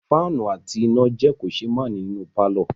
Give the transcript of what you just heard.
Fáànù àti iná jẹ́ kòṣeémánìí nínú pàlọ́